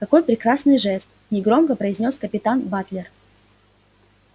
какой прекрасный жест негромко произнёс капитан батлер